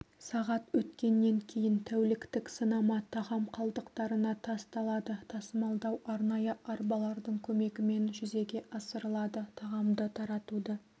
сағат өткеннен кейін тәуліктік сынама тағам қалдықтарына тасталады тасымалдау арнайы арбалардың көмегімен жүзеге асырылады тағамды таратуды